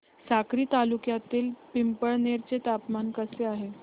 साक्री तालुक्यातील पिंपळनेर चे तापमान कसे आहे